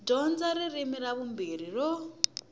dyondza ririmi ra vumbirhi ro